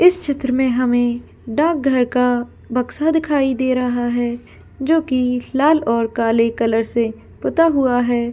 इस चित्र में हमे डाकघर का बक्सा दिखाई दे रहा है जो की लाल या काले कलर से पुता हुआ है।